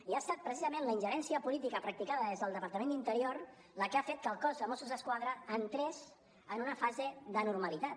i ha estat precisament la ingerència política practicada des del departament d’interior la que ha fet que el cos de mossos d’esquadra entrés en una fase d’anormalitat